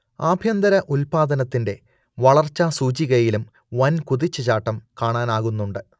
ആഭ്യന്തര ഉത്പാദനത്തിന്റെ വളർച്ചാ സൂചികയിലും വൻകുതിച്ചു ചാട്ടം കാണാനാകുന്നുണ്ട്